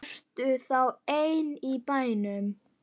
Ertu þá ein í bænum?